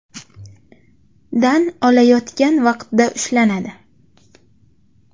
dan olayotgan vaqtda ushlanadi.